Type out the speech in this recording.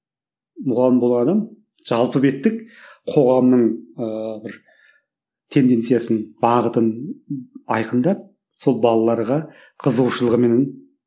мұғалім болған адам жалпы беттік қоғамның ыыы бір тенденциясын бағытын айқындап сол балаларға қызығушылығыменен